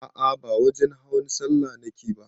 A'a ba wajen hawan sallah nake ba